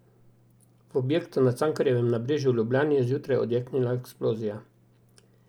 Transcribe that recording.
V objektu na Cankarjevem nabrežju v Ljubljani je zjutraj odjeknila eksplozija.